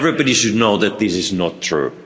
Everybody should know that this is not true